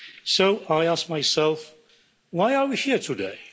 So I ask myself why are we here today?